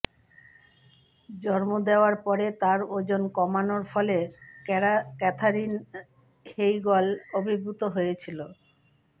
জন্ম দেওয়ার পরে তার ওজন কমানোর ফলে ক্যাথারিন হেইগল আবির্ভূত হয়েছিল